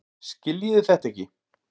Skiljiði þetta ekki?